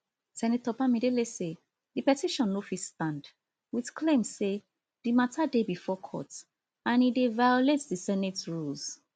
senator bamidele say di petition no fit stand wit claims say di matter dey bifor court and e dey violate di senate rules